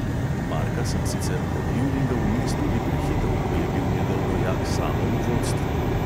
Marka sem sicer lovil in ga vmes tudi prehitel, ko je bil njegov rojak samo v vodstvu.